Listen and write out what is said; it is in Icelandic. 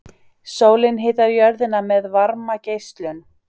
Sólin hitar jörðina með varmageislun.